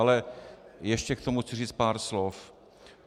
Ale ještě k tomu chci říct pár slov.